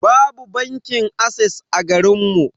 Babu bankin ases a garinmu.